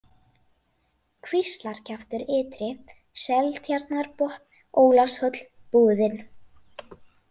Kvíslarkjaftur ytri, Seltjarnarbotn, Ólafshóll, Búðin